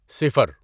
صفر